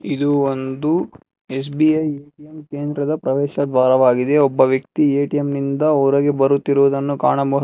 ಇದು ಒಂದು ಎಸ್_ಬಿ_ಐ ಕೆಂದ್ರ ಪ್ರವೇಶದ್ವಾರವಾಗಿದೆ ಒಬ್ಬ ವ್ಯಕ್ತಿ ಏ_ಟಿ_ಎಂ ನಿಂದ ಹೊರಗೆ ಬರುತ್ತಿರುವುದನ್ನು ಕಾಣಬ--